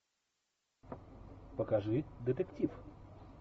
покажи детектив